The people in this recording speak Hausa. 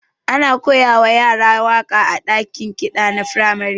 Ana koyawa yara waka a dakin ƙida na firamare.